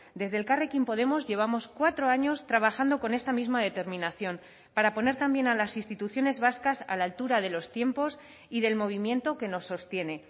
desde elkarrekin podemos llevamos cuatro años trabajando con esta misma determinación para poner también a las instituciones vascas a la altura de los tiempos y del movimiento que nos sostiene